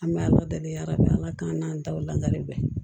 An bɛ ala deli ala bɛ ala k'an taw lakale bɛn